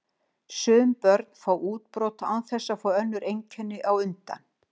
Sum börn fá útbrot án þess að fá önnur einkenni á undan.